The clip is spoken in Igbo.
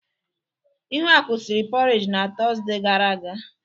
Ihuaku sịrị poreji n'Tọzdee gara aga.